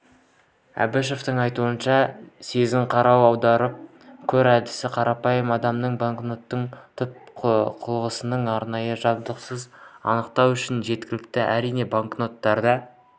әбішеваның айтуынша сезін-қара-аударып көр әдісі қарапайым адамның банкноттың түпнұсқалығын арнайы жабдықсыз анықтауы үшін жеткілікті әрине банкноттарда